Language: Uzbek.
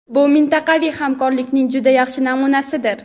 bu mintaqaviy hamkorlikning juda yaxshi namunasidir.